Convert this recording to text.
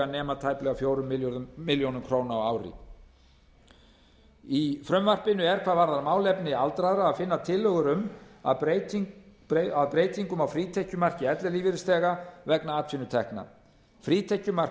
nema tæplega fjórar milljónir króna á ári í frumvarpinu er hvað varðar málefni aldraðra að finna tillögur að breytingum á frítekjumarki ellilífeyrisþega vegna atvinnutekna frítekjumark